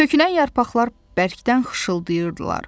Tökülən yarpaqlar bərkdən xışıltayırdılar.